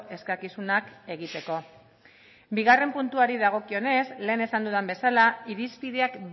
eskakizunak egiteko bigarrena puntuari dagokionez lehen esan dudan bezala irizpideak